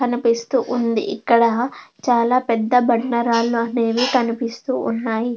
కనిపిస్తూ ఉంది ఇక్కడ చాలా పెద్ద బండ రాళ్లు అనేవి కనిపిస్తు ఉన్నాయి.